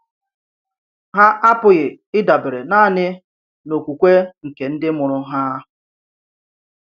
Hà àpụghị ị̀dabere nànì n’òkwùkwè̀ nke ndì mụrụ ha.